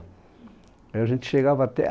Aí a gente chegava até a